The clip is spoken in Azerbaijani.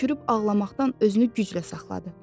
Hönkürüb ağlamaqdan özünü güclə saxladı.